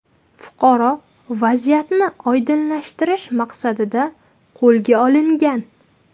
Fuqaro vaziyatni oydinlashtirish maqsadida qo‘lga olingan.